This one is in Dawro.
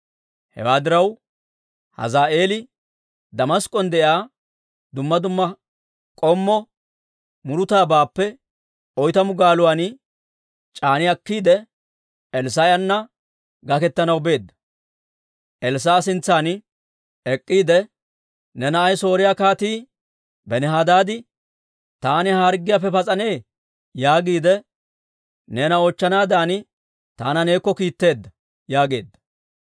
Hewaa diraw, Hazaa'eeli Damask'k'on de'iyaa dumma dumma k'ommo murutabaappe oytamu gaaluwaan c'aani akkiide, Elssaa'ena gaketanaw beedda. Elssaa'a sintsan ek'k'iide, «Ne na'ay Sooriyaa Kaatii Benihadaadi, ‹Taani ha harggiyaappe pas'anee?› yaagiide, neena oochchanaadan taana neekko kiitteedda» yaageedda.